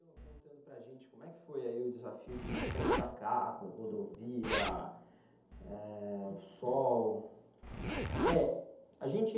contando para a gente como é que foi o desafio de enfrentar carro, rodovia, eh, o sol., a gente...